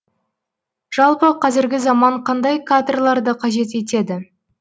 жалпы қазіргі заман қандай кадрларды қажет етеді